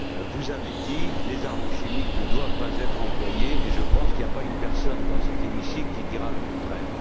Vous avez dit que les armes chimiques ne devaient pas être employées et je pense qu'il n'y a pas une personne dans cet Hémicycle qui dira le contraire.